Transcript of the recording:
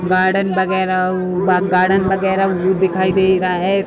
Garden वगेरा उ garden वगैरा उ दिखाई दे रहा है।